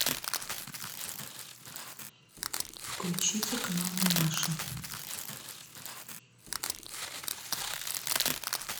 включите канал домашний